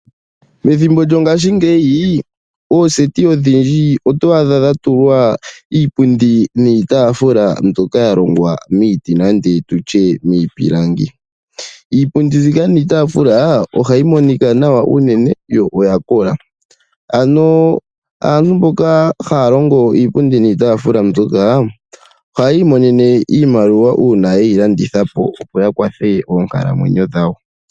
Methimbo lyo ngaashi ooseti odhindji otwaadha dhatulwa iipundi niitafula ndjoka yalongwa miipilangi. Iipundi niitafula ohayi monika nawa unene yo oyakola , aantu mboka haahongo iipundi niitafula ohayii monene iimaliwa uuna yeyilandithepo opo yiikwathele monkalamwenyo dhawo dhakehe siku.